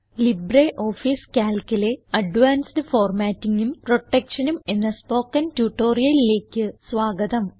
LibreOffice Calcലെ advanced Formattingഉം Protectionഉം എന്ന സ്പോകെൺ ട്യൂട്ടോറിയലിലേക്ക് സ്വാഗതം